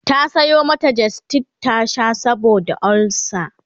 ta Sayo mata gestid ta Sha saboda ulcer